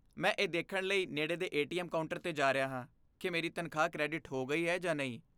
ਮੈਂ ਇਹ ਦੇਖਣ ਲਈ ਨੇੜੇ ਦੇ ਏ.ਟੀ.ਐਮ. ਕਾਊਂਟਰ 'ਤੇ ਜਾ ਰਿਹਾ ਹਾਂ ਕਿ ਮੇਰੀ ਤਨਖਾਹ ਕ੍ਰੈਡਿਟ ਹੋ ਗਈ ਹੈ ਜਾਂ ਨਹੀਂ।